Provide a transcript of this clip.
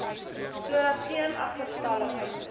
sodat geen agterstallige